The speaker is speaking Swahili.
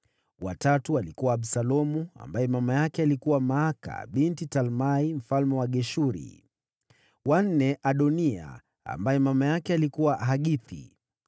wa tatu alikuwa Absalomu, ambaye mama yake alikuwa Maaka, binti Talmai mfalme wa Geshuri; wa nne, Adoniya, ambaye mama yake alikuwa Hagithi;